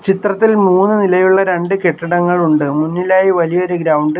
ചിത്രത്തിൽ മൂന്ന് നിലയുള്ള രണ്ട് കെട്ടിടങ്ങൾ ഉണ്ട് മുന്നിലായി വലിയൊരു ഗ്രൗണ്ട് --